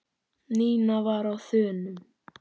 Nína var á þönum.